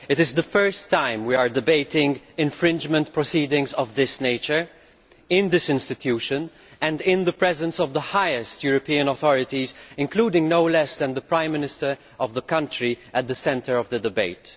It is the first time we have debated infringement proceedings of this nature in this institution and in the presence of the highest European authorities, including no less than the Prime Minister of the country at the centre of the debate.